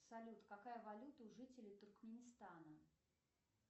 салют какая валюта у жителей туркменистана